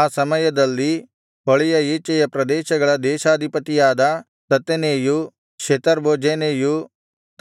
ಆ ಸಮಯದಲ್ಲಿ ಹೊಳೆಯ ಈಚೆಯ ಪ್ರದೇಶಗಳ ದೇಶಾಧಿಪತಿಯಾದ ತತ್ತೆನೈಯೂ ಶೆತರ್ಬೋಜೆನೈಯೂ